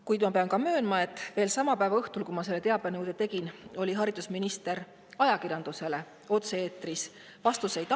Kuid ma pean möönma, et veel sama päeva õhtul, kui ma selle teabenõude tegin, oli haridusminister otse-eetris ja andis ajakirjandusele vastuseid.